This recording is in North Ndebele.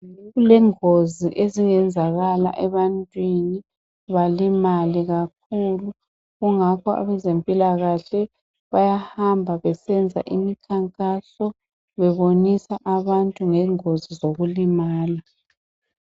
Kulengozi ezingenzakala ebantwini balimale kakhulu kungakho abezempilakahle bayahamba besenza imikhankaso bebonisa abantu ngengozi zokulimala.